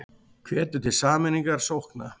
Hvetur til sameiningar sókna